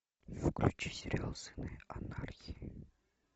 включи сериал сыны анархии